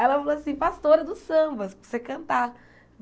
Ela falou assim, pastora dos sambas, para você cantar.